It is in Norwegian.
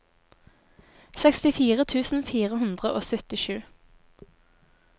sekstifire tusen fire hundre og syttisju